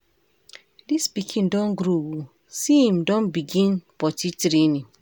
Dis pikin don grow o, so im don begin potty training?